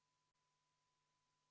Palun võtta seisukoht ja hääletada!